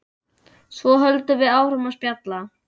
Svo höldum við áfram að spjalla.